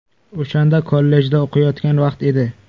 O‘shanda kollejda o‘qiyotgan vaqt edi.